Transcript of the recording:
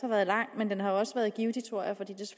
været lang har den også været givtig tror jeg fordi